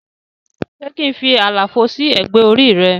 Se kín fí àlàfo sí ẹgbẹ́ orí re?